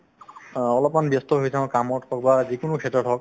অ, অলপমান ব্যস্ত হৈ থাকো কামত ক'ৰবাত যিকোনো ক্ষেত্ৰত হওক